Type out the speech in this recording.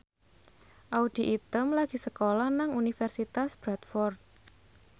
Audy Item lagi sekolah nang Universitas Bradford